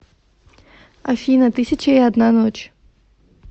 афина тысяча и одна ночь